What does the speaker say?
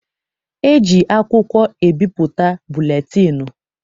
E ji akwụkwọ ebipụta buletịịnụ.